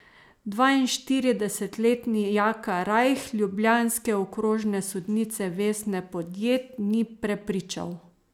Dvainštiridesetletni Jaka Rajh ljubljanske okrožne sodnice Vesne Podjed ni prepričal.